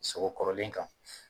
Sogo kɔrɔlen kan.